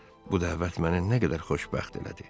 Bu dəvət məni nə qədər xoşbəxt elədi!